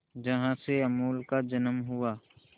जहां से अमूल का जन्म हुआ